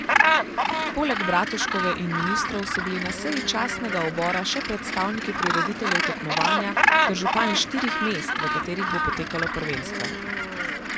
Poleg Bratuškove in ministrov so bili na seji častnega obora še predstavniki prirediteljev tekmovanja ter župani štirih mest, v katerih bo potekalo prvenstvo.